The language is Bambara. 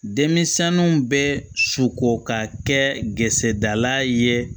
Denmisɛnnu bɛ suko ka kɛ gesaala ye